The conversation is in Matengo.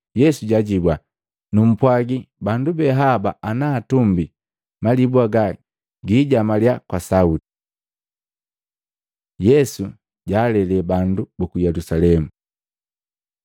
Yesu jaajibua, “Numpwagi bandu be haba ana atumbii, malibu haga gijamaliya kwa sauti.” Yesu jaalele bandu buku Yelusalemu